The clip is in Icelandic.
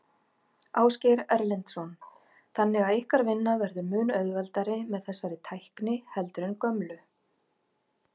Ásgeir Erlendsson: Þannig að ykkar vinna verður mun auðveldari með þessari tækni heldur en gömlu?